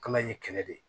Kala in ye kɛlɛ de